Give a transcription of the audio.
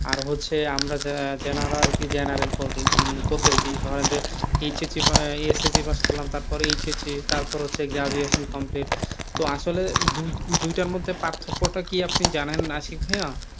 আর হচ্ছে আমরা যারা general general করতেছে ধরেন যে HSC pass করলাম তারপরে তারপরে graduate complete তো আসলে দুইটার মধ্যে পার্থক্য টা কি আপনি জানেন আশিক ভাইয়া?